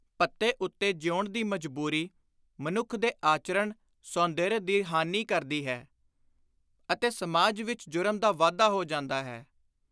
ਭੱਤੇ ਉੱਤੇ ਜੀਊਣ ਦੀ ਮਜਬੂਰੀ ਮਨੁੱਖ ਦੇ ਆਚਰਣ-ਸ਼ੌਂਦਰਯ ਦੀ ਹਾਨੀ ਕਰਦੀ ਹੈ ਅਤੇ ਸਮਾਜ ਵਿੱਚ ਜੁਰਮ ਦਾ ਵਾਧਾ ਹੋ ਜਾਂਦਾ ਹੈ।